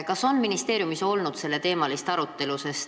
Kas ministeeriumis on olnud selleteemalist arutelu?